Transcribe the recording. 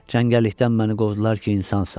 Çəngəllikdən məni qovdular ki, insansan.